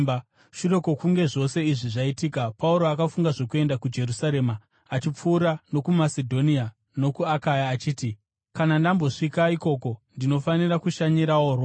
Shure kwokunge zvose izvi zvaitika, Pauro akafunga zvokuenda kuJerusarema achipfuura nokuMasedhonia, nokuAkaya achiti, “Kana ndambosvika ikoko, ndinofanira kushanyirawo Roma.”